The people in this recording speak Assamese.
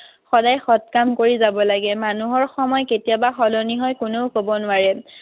সদায় সৎ কাম কৰি যাব লাগে। মানুহৰ সময় কেতিয়া বা সলনি হয়, কোনেও কব নোৱাৰে।